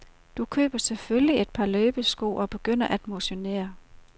Du køber selvfølgelig et par løbesko, og begynder at motionere.